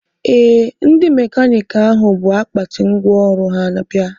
Ee, ndị mekaniiki ahụ bụ akpati ngwaọrụ ha bịa